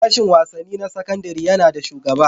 Sashin wasanni na sakandare yana da shugaba.